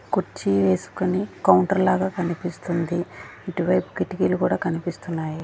కుర్చీ వేసుకొని కౌంటర్ లాగా కనిపిస్తుంది ఇటువైపు కిటికీలు కూడా కనిపిస్తున్నాయి.